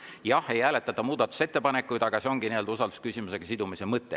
Jah, ei hääletata muudatusettepanekuid, aga see ongi usaldusküsimusega sidumise mõte.